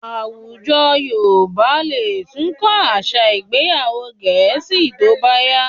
Àwùjọ Yorùbá lè tún kọ́ àṣà ìgbéyàwò Gẹ̀ẹ́sì síi tó bá yá